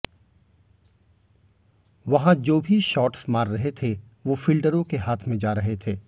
वहां जो भी शॉट्स मार रहे थे वो फील्डरों के हाथ में जा रहे थे